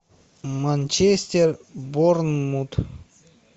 манчестер борнмут